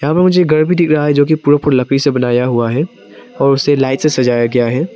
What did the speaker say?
लकड़ी से बनाया हुआ है और उसे लाइट से सजाया गया है।